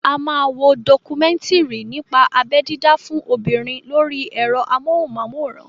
A máa wo dọkumẹ́ńtìrì nípa abẹ́ dídá fún obìnrin lórí ẹ̀rọ amóhùnmáwòrán.